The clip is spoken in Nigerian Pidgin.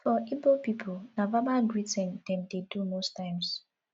for igbo pipo na verbal greeting dem dey do most times